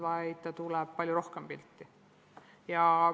Vastupidi, see aine tuleb palju rohkem pilti.